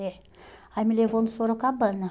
É. Aí me levou no Sorocabana.